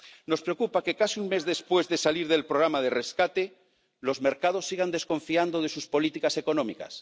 Nos preocupa que, casi un mes después de salir del programa de rescate, los mercados sigan desconfiando de sus políticas económicas.